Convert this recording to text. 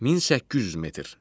1800 metr.